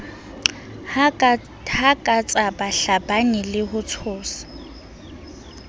hakatsa bahlabani le ho tshosa